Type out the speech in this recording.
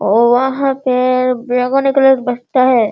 और वहाँ पे बैंगनी कलर का बस्ता है।